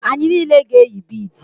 Anyị niile ga-eyi bidi